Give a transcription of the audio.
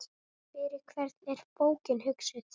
Fyrir hvern er bókin hugsuð?